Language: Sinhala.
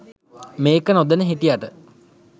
මේක නොදැන හිටියට